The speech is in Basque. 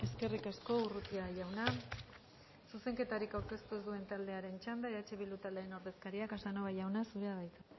eskerrik asko urrutia jauna zuzenketarik aurkeztu ez duen taldearen txanda eh bildu taldearen ordezkaria casanova jauna zurea da hitza